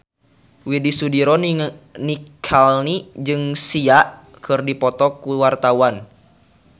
Widy Soediro Nichlany jeung Sia keur dipoto ku wartawan